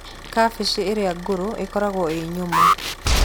Kabici irĩa ngũrũ ikoragwo ĩ nyũmũ.